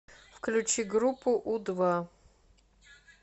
включи группу у два